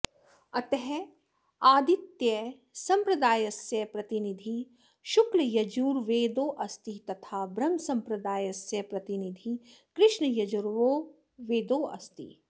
अतः अादित्यसम्प्रदायस्य प्रतिनिधिः शुक्लयजुर्वेदोऽस्ति तथा ब्रह्मसम्प्रदायस्य प्रतिनिधिः कृष्णयजुर्वेदोऽस्ति